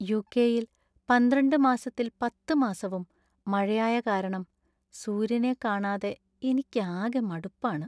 യു.കെ.യില്‍ പന്ത്രണ്ട് മാസത്തില്‍ പത്ത് മാസവും മഴയായ കാരണം സൂര്യനെ കാണാതെ എനിക്കാകെ മടുപ്പാണ്.